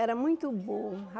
Era muito bom.